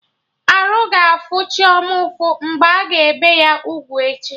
Arụ ga-afụ Chioma ụfụ mgbe a ga-ebe ya ugwu echi